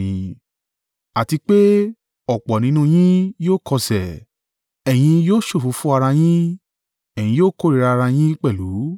Àti pé, ọ̀pọ̀ nínú yín yóò kọsẹ̀, ẹ̀yin yóò ṣòfófó ara yín, ẹ̀yin yóò kórìíra ara yín pẹ̀lú,